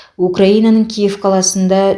украинаның киев қаласында